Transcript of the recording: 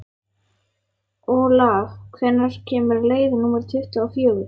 Olav, hvenær kemur leið númer tuttugu og fjögur?